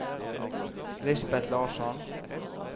Lisbeth Larsson